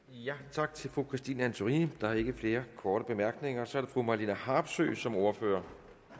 tak til fru christine antorini der er ikke flere korte bemærkninger og så er det fru marlene harpsøe som ordfører